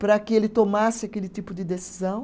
para que ele tomasse aquele tipo de decisão.